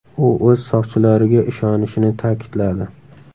U o‘z soqchilariga ishonishini ta’kidladi.